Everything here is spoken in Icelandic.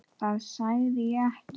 Það sagði ég ekki